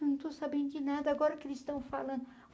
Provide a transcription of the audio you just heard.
Eu não estou sabendo de nada, agora que eles estão falando.